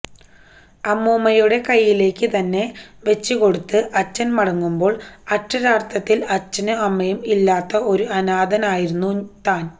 അമ്മൂമ്മയുടെ കയ്യിലേക്ക് തന്നെ വച്ച് കൊടുത്ത് അച്ഛൻ മടങ്ങുമ്പോൾ അക്ഷാരാർഥത്തിൽ അച്ഛനും അമ്മയും ഇല്ലാത്ത ഒരു അനാഥയായിരുന്നു താൻ